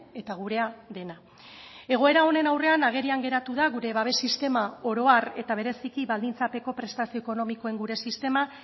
eta gurea dena egoera honen aurrean agerian geratu da gure babes sistema oro har eta bereziki baldintzapeko prestazio ekonomikoen gure sistema